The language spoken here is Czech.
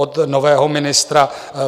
Od nového ministra